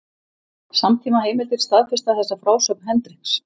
Samtímaheimildir staðfesta þessa frásögn Hendriks.